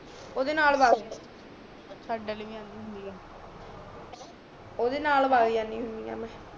ਉਦੇ ਨਾਲ ਭਗ ਸਾਡੇ ਵਾਲੀ ਵੀ ਜਾਂਦੀ ਹੁੰਦੀ ਆ ਉਦੇ ਨਾਲ ਭਗ ਜਾਂਦੀ ਹੁੰਦੀ ਆ ਮੈਂ